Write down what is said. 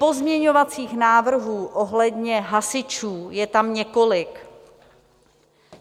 Pozměňovacích návrhů ohledně hasičů je tam několik.